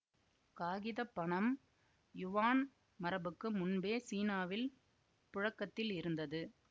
காகித பணம் யுவான் மரபுக்கு முன்பே சீனாவில் புழக்கத்தில் இருந்தது